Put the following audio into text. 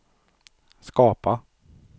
skapa